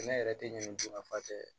Sɛnɛ yɛrɛ tɛ ɲɛ dɔn nafa tɛ